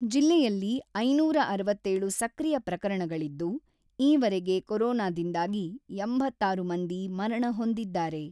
ಜಿಲ್ಲೆಯಲ್ಲಿ ಐನೂರ ಅರವತ್ತೇಳು ಸಕ್ರಿಯ ಪ್ರಕರಣಗಳಿದ್ದು, ಈವರೆಗೆ ಕೋರೋನಾದಿಂದಾಗಿ ಎಂಬತ್ತ ಆರು ಮಂದಿ ಮರಣ ಹೊಂದಿದ್ದಾರೆ.